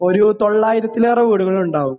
ഒരു തൊള്ളായിരത്തിലേറെ വീടുകൾ ഉണ്ടാവും